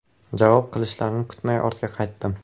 Javob qilishlarini kutmay ortga qaytdim.